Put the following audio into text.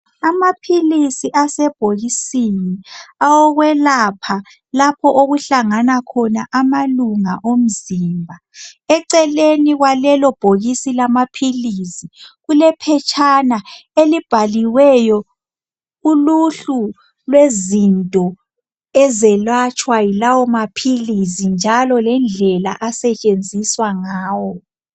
Amaphilisi asebhokisini awokulwelapha lapho okuhlangana khona amalunga omzimba. Eceleni kwalelobhokisi lamaphilisi kulephetshana elibhaliweyo uluhlu lwezinto ezelatshwa yilawo maphilisi njalo lendlela asetshenziswa ngayo.